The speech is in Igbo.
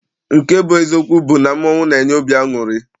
Nke bụ eziokwu bụ mmọnwụ na-enye obi aṅụrị.